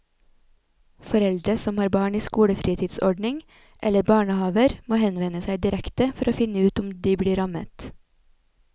Foreldre som har barn i skolefritidsordning eller barnehaver må henvende seg direkte for å finne ut om de blir rammet.